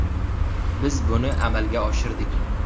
Biz buni amalga oshirdik.